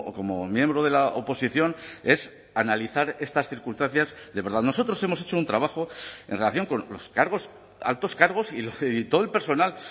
como miembro de la oposición es analizar estas circunstancias de verdad nosotros hemos hecho un trabajo en relación con los cargos altos cargos y todo el personal